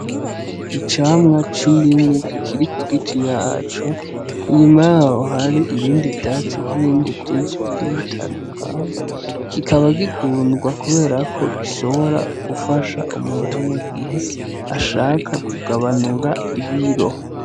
Icamwa c'indimu Kiri kugiti yaco inyuma yaho hari ibindi vyatsi nibindi vyinshi bigiye bitandukanye kikaba gikundwa kubera ko gishobora gifasha umuntu mugihe ashaka kugabanura ibiro.